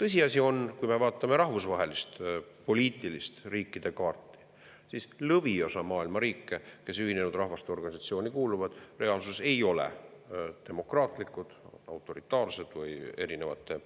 Tõsiasi on, et kui me vaatame rahvusvahelist poliitilist riikide kaarti, siis lõviosa maailma riike, kes Ühinenud Rahvaste Organisatsiooni kuuluvad, reaalsuses ei ole demokraatlikud, autoritaarsed või erinevate